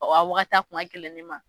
Ɔ a waagati a kun ka gɛlɛn ne ma.